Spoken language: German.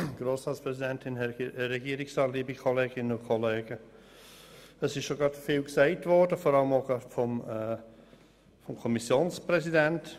Es wurde schon Vieles gesagt, auch gerade vom Kommissionspräsidenten.